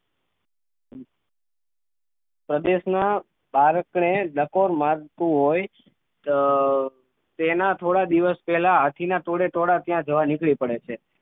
પ્રદેશ ના બારકડે ડકોર મારતું હોય તેના થોડા દિવસ પેહલા હાથી ના ટોળે ટોળાં ત્યાં જવા નીકળી પડે છે